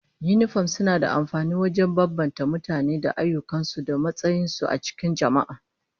Yinifom suna da amfani wajen bambance mutane da ayyukan su da matsayin su a cikin jama'a